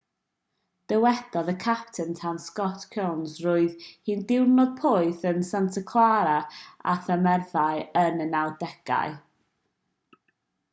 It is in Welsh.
dywedodd y capten tân scott kouns roedd hi'n ddiwrnod poeth yn santa clara â thymereddau yn y 90au